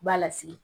B'a lasigi